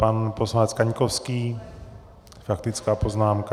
Pan poslanec Kaňkovský, faktická poznámka.